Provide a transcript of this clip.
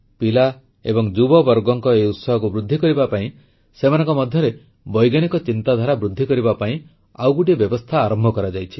ପିଲା ଏବଂ ଯୁବବର୍ଗଙ୍କ ଏହି ଉତ୍ସାହକୁ ବୃଦ୍ଧି କରିବା ପାଇଁ ସେମାନଙ୍କ ମଧ୍ୟରେ ବୈଜ୍ଞାନିକ ଚିନ୍ତାଧାରା ବୃଦ୍ଧି କରିବା ପାଇଁ ଆଉ ଗୋଟିଏ ବ୍ୟବସ୍ଥା ଆରମ୍ଭ କରାଯାଇଛି